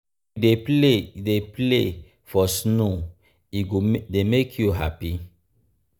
if you dey play you dey play for snow e go dey make you happy.